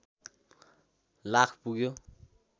लाख पुग्यो